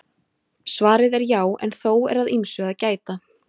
Svarið er já en þó er að ýmsu að gæta.